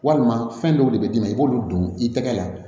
Walima fɛn dɔw de bɛ d'i ma i b'olu don i tɛgɛ la